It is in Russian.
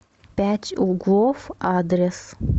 пять углов адрес